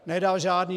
Nedal žádné.